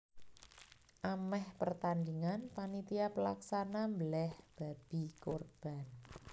Amèh pertandhingan panitia pelaksana mbelèh babi kurban